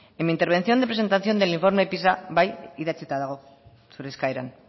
en mi intervención de presentación del informe pisa bai idatzita dago zure eskaeran